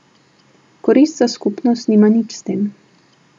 Korist za skupnost nima nič s tem.